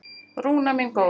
Rúna mín góð.